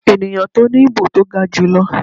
eniyan ti o ni ibo to ga julọ.